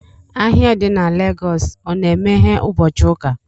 Ahịa di na Lagos o na-emeghe ụbọchị ụka